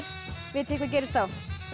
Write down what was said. vitið þið hvað gerist þá